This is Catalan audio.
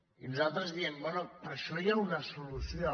i nosaltres diem bé per a això hi ha una solució